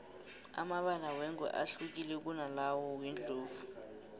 amabala wengwe ahlukile kunalawa wendlovu